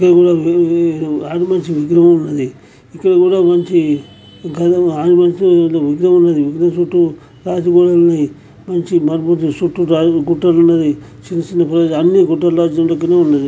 ఆంజనేయ స్వామి విగ్రహం ఉంది. ఇక్కడ కూడా మంచి ఇక్కడ కూడా ఆంజనేయస్వామి విగ్రహం ఉంది. విగ్రహం చుట్టూ రాజమహల్ ఉంది. మంచి చుట్టూ యాదగిరిగుట్టలు ఉన్నాయి. చిన్న చిన్న పూజ అన్ని గుట్టాల రాజ్యం దగ్గరే ఉన్నాయి.